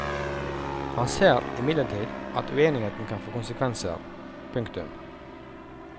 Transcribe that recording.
Han ser imidlertid at uenigheten kan få konsekvenser. punktum